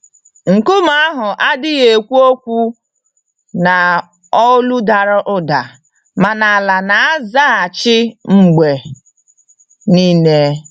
Nkume ahụ adịghị ekwu okwu n'olu dara ụda, mana ala na-azaghachi mgbe niile.